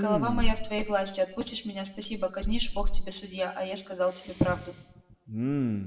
голова моя в твоей власти отпустишь меня спасибо казнишь бог тебе судья а я сказал тебе правду